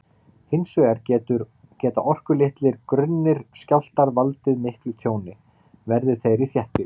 Hins vegar geta orkulitlir, grunnir skjálftar valdið miklu tjóni, verði þeir í þéttbýli.